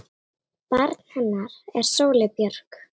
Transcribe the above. Barn hennar er Sóley Björk.